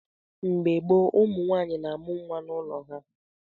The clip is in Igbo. Mgbe gboo, ụmụnwaanyị na-amụ nwa n’ụlọ ha.